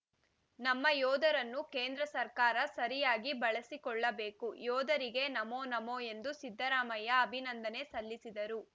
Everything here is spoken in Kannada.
ನಮ್ಮ ಯೋಧರನ್ನು ಕೇಂದ್ರ ಸರ್ಕಾರ ಸರಿಯಾಗಿ ಬಳಸಿಕೊಳ್ಳಬೇಕು ಯೋಧರಿಗೆ ನಮೋ ನಮೋ ಎಂದು ಸಿದ್ದರಾಮಯ್ಯ ಅಭಿನಂದನೆ ಸಲ್ಲಿಸಿದರು